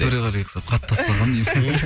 төреғалиға ұқсап қатты аспағанмын